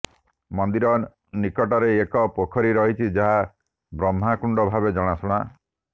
ମନ୍ଦିର ନିକଟରେ ଏକ ପୋଖରୀ ରହିଛି ଯାହା ବ୍ରହ୍ମାକୁଣ୍ଡ ଭାବେ ଜଣାଶୁଣା